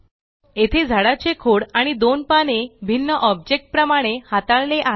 येथे झाडाचे खोड आणि दोन पाने भिन्न ऑब्जेक्ट प्रमाणे हाताळले आहे